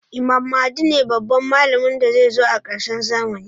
Imam mahdi ne babban mallamin da zai zo a karshen zamani